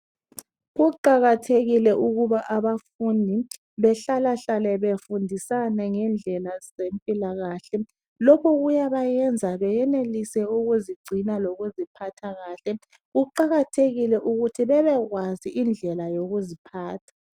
kuqakathekile ukuba abafundi behlala hlale befundisana ngendlela zempilakahle lokho kuyabayenza beyenelise ukuzigcina lokuziphathakahle kuqakathekile ukuthi bebekwazi indlela yokuziphatha.